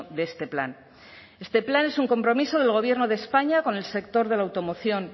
de este plan este plan es un compromiso del gobierno de españa con el sector de la automoción